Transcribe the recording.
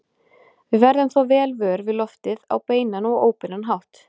Við verðum þó vel vör við loftið á beinan og óbeinan hátt.